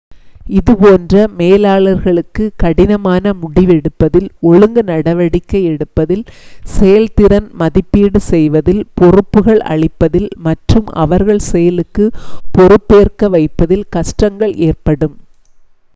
இது போன்ற மேலாளர்களுக்கு கடினமான முடிவெடுப்பதில் ஒழுங்கு நடவடிக்கை எடுப்பதில் செயல்திறன் மதிப்பீடு செய்வதில் பொறுப்புகள் அளிப்பதில் மற்றும் அவர்கள் செயலுக்குப் பொறுப்பேற்க வைப்பதில் கஷ்டங்கள் ஏற்படும்